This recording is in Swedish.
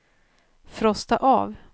frosta av